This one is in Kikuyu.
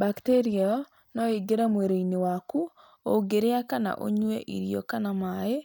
Bacteria ĩyo no ĩingĩre mwĩrĩ-inĩ waku ũngĩrĩa kana ũnyue irio kana maĩ